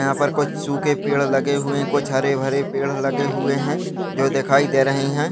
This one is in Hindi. यहाँ पर कुछ सूखे पेड़ लगे हुए हैं कुछ हरे-भरे पेड़ लगे हुए हैं जो दिखाई दे रहे हैं।